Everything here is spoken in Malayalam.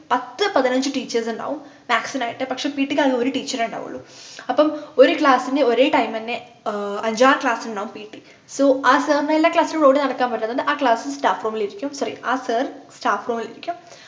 പത്തു പതിനഞ്ചു teachers ഉണ്ടാകും maths നായിട്ട് പക്ഷെ pt ക്ക് ആകെ ഒരു teacher ഏ ഉണ്ടാവുള്ളു അപ്പൊ ഒരു class നു ഒരേ time എന്നെ ആഹ് അഞ്ചാറു class നുണ്ടാകും ptso ആ sir നു എല്ലാ class ലും ഓടി നടക്കാൻ പറ്റുമോ അതുകൊണ്ട് ആ class staff room ൽ ഇരിക്കും sorry ആ sir staff room ൽ ഇരിക്കും